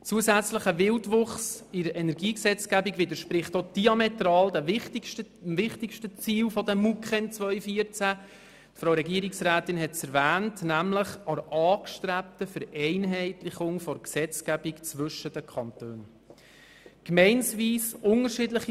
Zusätzlicher Wildwuchs in der Energiegesetzgebung widerspricht zudem diametral dem wichtigsten Ziel der Mustervorschriften der Kantone im Energiebereich (MuKEn 2014), nämlich der angestrebten Vereinheitlichung der Gesetzgebung der Kantone, wie es die Energiedirektorin ausgeführt hat.